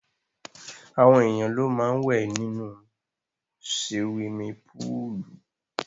Àwọn èèyàn ló máa wẹ̀ ní siwimi púùlù.